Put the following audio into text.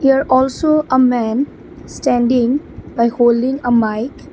there also a man standing by holding a mic.